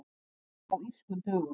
Margir á Írskum dögum